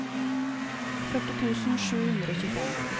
førti tusen sju hundre og tjuefem